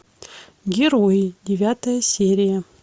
герои девятая серия